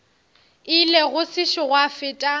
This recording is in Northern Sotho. ile go sešo gwa feta